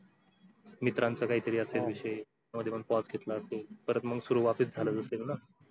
मित्रांचा असेल काहीतरी विषय त्यामध्ये पण pause घेतला असेल परत मग सुरु वापस झालं असेलच ना